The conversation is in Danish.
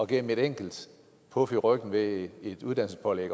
gennem et enkelt puf i ryggen med et uddannelsespålæg